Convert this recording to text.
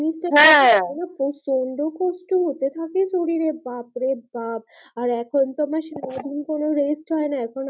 হা ওরে বাপ রে বাপ আর এখন তো আমার সারা দিন পরেও rest হয় না এখন